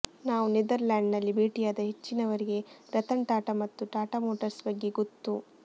ನಾವು ನೆದರ್ಲ್ಯಾಂಡಿನಲ್ಲಿ ಭೇಟಿಯಾದ ಹೆಚ್ಚಿನವರಿಗೆ ರತನ್ ಟಾಟಾ ಮತ್ತು ಟಾಟಾ ಮೋಟರ್ಸ್ ಬಗ್ಗೆ ಗೊತ್ತು